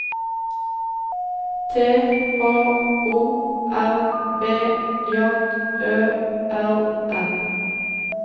T H O R B J Ø R N